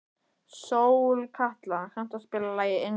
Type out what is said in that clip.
Sólkatla, kanntu að spila lagið „Englar“?